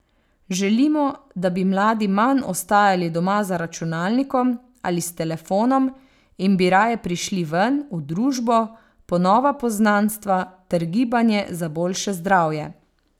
Želimo, da bi mladi manj ostajali doma za računalnikom ali s telefonom in bi raje prišli ven, v družbo, po nova poznanstva ter gibanje za boljše zdravje.